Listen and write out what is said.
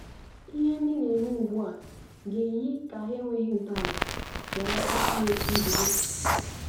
Ihe ndị na-eme ugbu a ga-eyi ka hà enweghị ntọala, gharakwa inwe nzube.